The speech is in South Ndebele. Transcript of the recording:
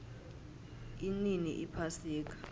inini iphasika